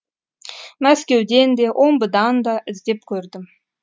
мәскеуден де омбыдан да іздеп көрдім